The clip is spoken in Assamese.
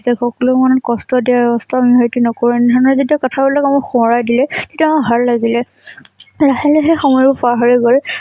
সকলোৰে মনত কষ্ট দিয়া কষ্ট অনুভৱ নকৰোঁ এনে ধৰণৰ যেতিয়া কথা বিলাকে আমাক সোঁৱৰাই দিলে তেতিয়া আমাৰ ভাল লাগিল। লাহে লাহে সময়বোৰ পাৰ হৈ গল